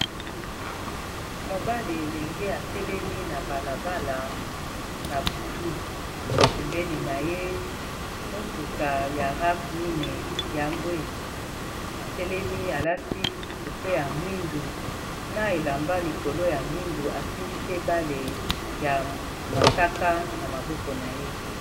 Elenge mobali, atelemi na balabala na butu. Pembeni na ye, motuka ya rave mine ya mbwe. Atelemi, alati kupe ya mwindu; na elamba likolo ya mwindu. Asimbi pe bale ya mosaka na maboko na ye.